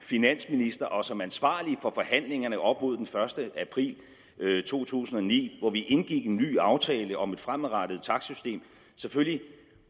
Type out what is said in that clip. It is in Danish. finansminister og som ansvarlig for forhandlingerne op mod den første april to tusind og ni hvor vi indgik en ny aftale om et fremadrettet takstsystem selvfølgelig